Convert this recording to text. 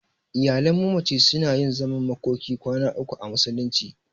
Iyalan mamaci suna yin zaman makokin kwana uku a musulunci.